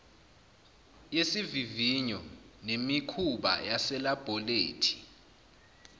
yesivivinyo nemikhuba yaselabholethi